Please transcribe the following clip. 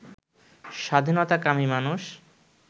স্বাধীনতাকামী মানুষ